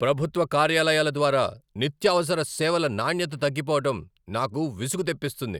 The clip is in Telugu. ప్రభుత్వ కార్యాలయాల ద్వారా నిత్యావసర సేవల నాణ్యత తగ్గిపోవడం నాకు విసుగు తెప్పిస్తుంది.